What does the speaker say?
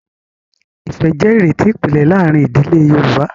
Ìfẹ́ jẹ́ ìrètí ìpìlẹ̀ láàárín ìdílé Yorùbá.